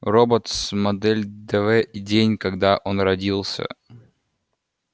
роботс модель дв и день когда он родился